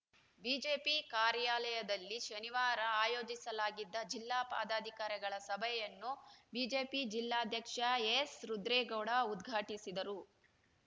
BJP ಕಾರ್ಯಾಲಯದಲ್ಲಿ ಶನಿವಾರ ಆಯೋಜಿಸಲಾಗಿದ್ದ ಜಿಲ್ಲಾ ಪದಾಧಿಕಾರಿಗಳ ಸಭೆಯನ್ನು ಬಿಜೆಪಿ ಜಿಲ್ಲಾಧ್ಯಕ್ಷ ಎಸ್‌ ರುದ್ರೇಗೌಡ ಉದ್ಘಾಟಿಸಿದರು